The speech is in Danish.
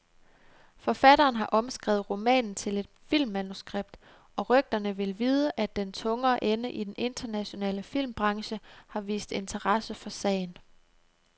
Forfatteren har omskrevet romanen til et filmmanuskript, og rygterne vil vide, at den tungere ende i den internationale filmbranche har vist interesse for sagen.